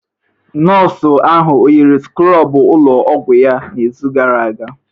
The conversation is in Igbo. Nọọsụ ahụ ọ yiri skrọbụ ụlọ ọgwụ ya n'izu gara aga?